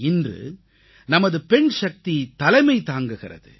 இன்று நமது பெண்சக்தி தலைமை தாங்குகிறது